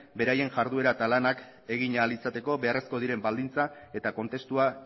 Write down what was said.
beraien jarduera lanak egin ahal izateko beharrezkoak diren baldintza eta kontestua